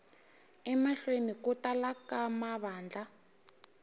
emahlweni ku tala ka mavandla